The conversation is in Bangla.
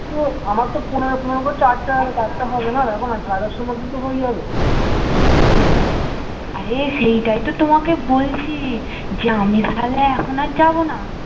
আমার তো পনেরো পনেরো করে চারটা চারটা হবে না তো এখন সাড়ে দস্তার মধ্যে তো হয়ে যাবে